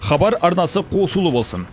хабар арнасы қосулы болсын